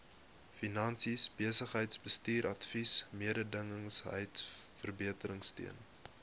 finansies besigheidsbestuursadvies mededingendheidsverbeteringsteun